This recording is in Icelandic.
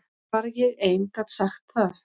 Bara ég ein gat sagt það.